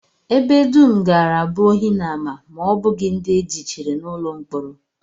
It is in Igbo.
Ebe dum gaara abụ ohi na ama ma ọ bụghị ndị e jichiri n'ụlọ mkpọrọ